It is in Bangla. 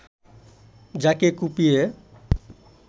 যাকে কুপিয়ে